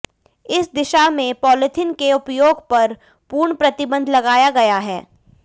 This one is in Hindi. इस दिशा में पॉलीथीन के उपयोग पर पूर्ण प्रतिबंध लगाया गया है